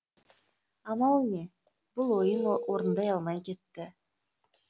амал не бұл ойын орындай алмай кетті